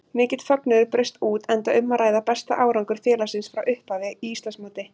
Mikill fögnuður braust út enda um að ræða besta árangur félagsins frá upphafi í Íslandsmóti.